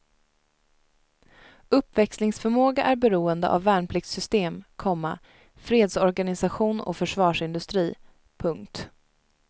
Uppväxlingsförmåga är beroende av värnpliktssystem, komma fredsorganisation och försvarsindustri. punkt